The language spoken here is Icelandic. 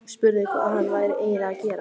Spurði hvað hann væri eiginlega að gera.